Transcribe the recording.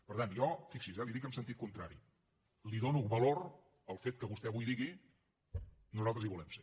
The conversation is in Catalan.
per tant jo fixi s’hi eh li ho dic en sentit contrari dono valor al fet que vostè avui digui nosaltres hi volem ser